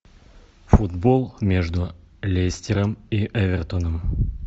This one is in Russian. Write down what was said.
футбол между лестером и эвертоном